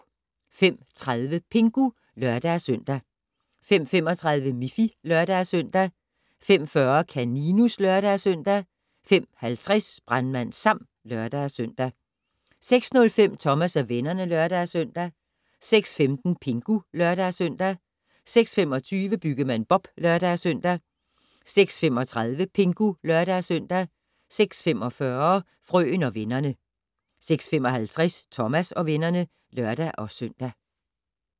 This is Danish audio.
05:30: Pingu (lør-søn) 05:35: Miffy (lør-søn) 05:40: Kaninus (lør-søn) 05:50: Brandmand Sam (lør-søn) 06:05: Thomas og vennerne (lør-søn) 06:15: Pingu (lør-søn) 06:25: Byggemand Bob (lør-søn) 06:35: Pingu (lør-søn) 06:45: Frøen og vennerne 06:55: Thomas og vennerne (lør-søn)